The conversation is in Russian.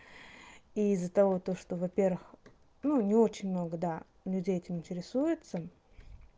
и из-за того то что во-первых ну не очень много да людей этим интересуются